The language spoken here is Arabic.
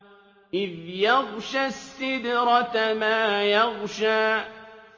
إِذْ يَغْشَى السِّدْرَةَ مَا يَغْشَىٰ